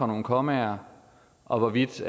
nogle kommaer og hvorvidt